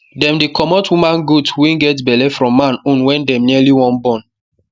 them dey comot woman goat wey get belle from man own when dem nearly wan born